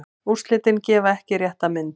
Úrslitin gefa ekki rétta mynd.